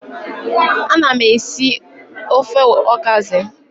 Ana m esi ofe okazi.